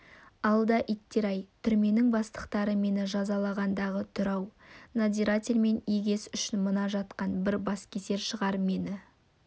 алда иттер-ай түрменің бастықтары мені жазалағандағы түрі-ау надзирательмен егес үшін мына жатқан бір баскесер шығар мені